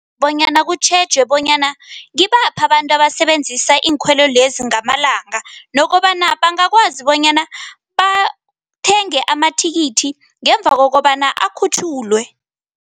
Bonyana kutjhejwe bonyana ngibaphi abantu abasebenzisa iinkhwelo lezi ngamalanga nokobana bangakwazi bonyana bathenge amathikithi ngemva kokobana akhutjhulwe.